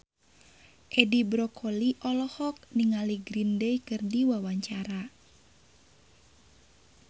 Edi Brokoli olohok ningali Green Day keur diwawancara